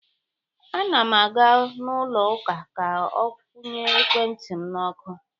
A na m aga n’ụlọ ụka ka kwụnye ekwentị m n’ọkụ.